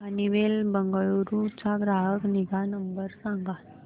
Honeywell Bengaluru चा ग्राहक निगा नंबर सांगा